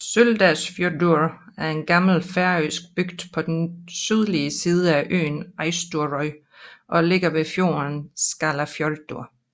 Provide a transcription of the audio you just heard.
Søldarfjørður er en gammel færøsk bygd på den sydlige del af øen Eysturoy og ligger ved fjorden Skálafjørður